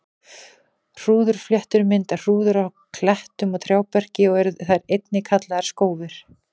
Hrúðurfléttur mynda hrúður á klettum og trjáberki og eru þær einnig kallaðar skófir.